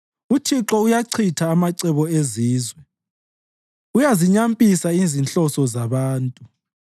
UThixo uyawachitha amacebo ezizwe; uyazinyampisa izinhloso zabantu.